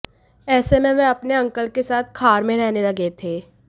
ऐसे में वह अपने अंकल के साथ खार में रहने लगे थे